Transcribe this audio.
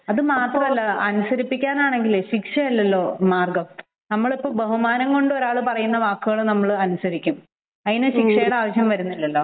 അതുമാത്രമല്ല അനുസരിപ്പിക്കാനാണെങ്കിൽ ശിക്ഷയല്ലല്ലോ മാർഗ്ഗം നമ്മൾ ഇപ്പോൾ ബഹുമാനം കൊണ്ടും ഒരാൾ പറയുന്ന കാര്യം നമ്മൾ അനുസരിക്കും. അതിനു ശിക്ഷയുടെ ആവശ്യം വരുന്നില്ലല്ലോ